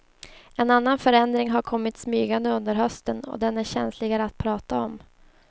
En annan förändring har kommit smygande under hösten och den är känsligare att prata om.